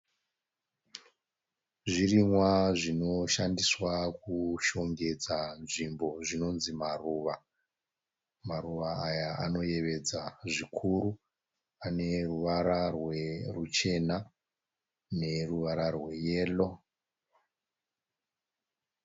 Zvirimwa zvinoshandiswa kushongedza nzvimbo zvinonzi maruva, maruva aya anoyevedza zvikuru ane ruvara ruchena neruvara rweyero.